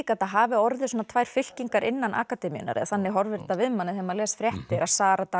þetta hafi orðið tvær fylkingar innan akademíunnar eða þannig horfir þetta við manni þegar maður les fréttir að Sara